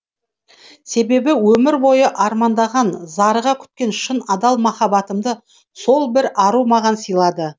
себебі өмір бойы армандаған зарыға күткен шын адал махаббатымды сол бір ару маған сыйлады